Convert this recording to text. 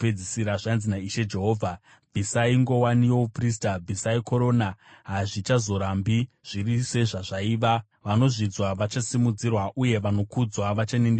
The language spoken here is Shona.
zvanzi naIshe Jehovha: Bvisai nguwani youprista, bvisai korona. Hazvichazorambi zviri sezvazvaiva: vanozvidzwa vachasimudzirwa uye vanokudzwa vachaninipiswa.